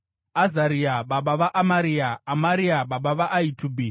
Azaria baba vaAmaria, Amaria baba vaAhitubhi.